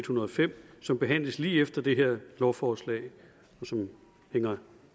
hundrede og fem som behandles lige efter det her lovforslag og som hænger